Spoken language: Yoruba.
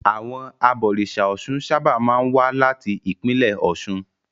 Àwọn abọ̀rìṣà Ọ̀ṣun sábà máa ń wá láti ìpínlẹ̀ Ọ̀ṣun.